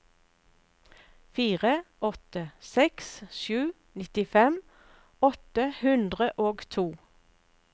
fire åtte seks sju nittifem åtte hundre og to